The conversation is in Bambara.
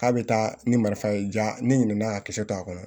K'a bɛ taa ni marifa ye diya ne ɲinɛna k'a kisɛ to a kɔnɔ